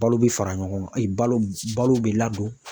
Balo bɛ fara ɲɔgɔn e balo balo bɛ ladon.